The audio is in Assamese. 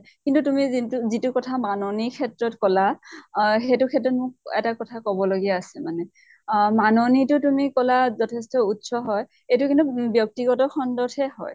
কিন্তু তুমি যিন্তু যিটো কথা মাননীৰ ক্ষেত্ৰত কলা অহ সেইটো ক্ষেত্ৰত মই মোক এটা কথা কব লগিয়া আছে মানে। আহ মাননীটো তুমি কলা যথেষ্ট উচ্চ হয়, এইটো কিন্তু উম ব্য়ক্তিগত খন্ড্ত হে হয়।